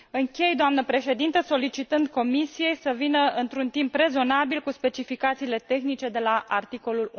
Închei, doamnă președintă, solicitând Comisiei să vină într un timp rezonabil cu specificațiile tehnice de la articolul